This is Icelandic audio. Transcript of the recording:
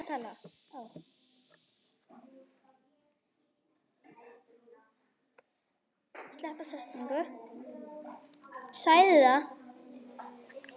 Hvað getur þú kennt?